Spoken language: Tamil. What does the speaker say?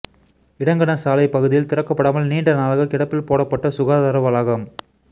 இடங்கணசாலை பகுதியில் திறக்கப்படாமல் நீண்ட நாளாக கிடப்பில் போடப்பட்ட சுகாதார வளாகம்